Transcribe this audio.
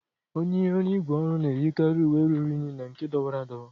Onye ọrụ ígwè ọrụ na-eyikarị uwe ruru unyi na nke dọwara adọwa.